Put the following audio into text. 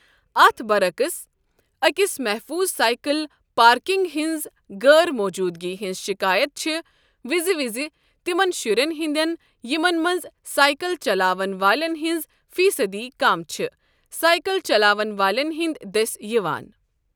اتھ برعکس، أکِس محفوٗظ سایکل پارکنٛگ ہنزِ غٲر موجوٗدگی ہِنٛز شِکایت چھےٚ وزِ وزِ تِمن شہرن ہِنٛدیٚن ، یِمن منٛز سایکل چلاون والین ہِنٛز فیٖصدی کم چھےٚ سایکل چلاون والیٚن ہِنٛدِ دٔسۍ یوان ۔